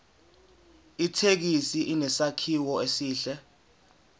ithekisi inesakhiwo esihle